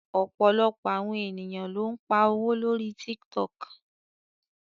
Ọ̀pọ̀lọpọ̀ àwọn ènìyàn ló ń pa owó lórí Tiktok